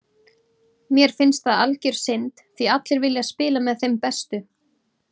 Mér finnst það algjör synd því allir vilja spila með þeim bestu.